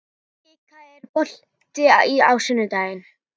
Kikka, er bolti á sunnudaginn?